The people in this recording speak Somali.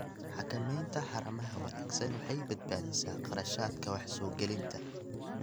Xakamaynta haramaha wanaagsan waxay badbaadisaa kharashaadka wax soo gelinta.